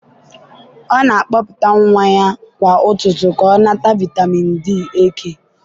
ọ na-akpọpụta nwa ya kwa ụtụtụ ka ọ nata vitamin D eke